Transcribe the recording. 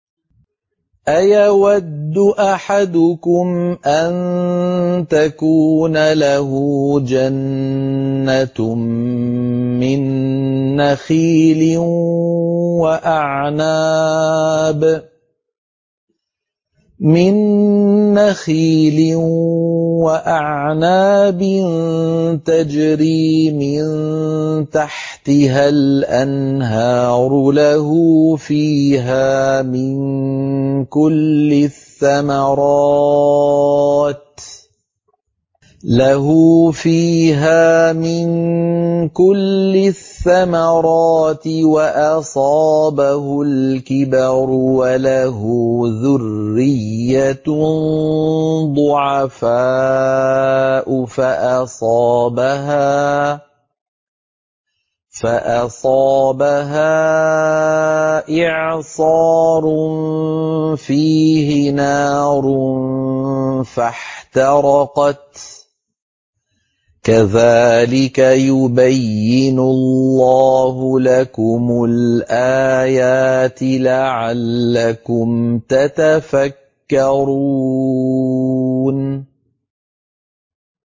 أَيَوَدُّ أَحَدُكُمْ أَن تَكُونَ لَهُ جَنَّةٌ مِّن نَّخِيلٍ وَأَعْنَابٍ تَجْرِي مِن تَحْتِهَا الْأَنْهَارُ لَهُ فِيهَا مِن كُلِّ الثَّمَرَاتِ وَأَصَابَهُ الْكِبَرُ وَلَهُ ذُرِّيَّةٌ ضُعَفَاءُ فَأَصَابَهَا إِعْصَارٌ فِيهِ نَارٌ فَاحْتَرَقَتْ ۗ كَذَٰلِكَ يُبَيِّنُ اللَّهُ لَكُمُ الْآيَاتِ لَعَلَّكُمْ تَتَفَكَّرُونَ